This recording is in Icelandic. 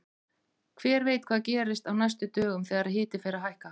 Hver veit hvað gerist á næstu dögum þegar hiti fer að hækka!